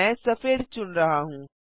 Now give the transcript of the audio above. मैं सफेद चुन रहा हूँ